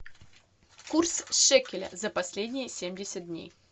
курс шекеля за последние семьдесят дней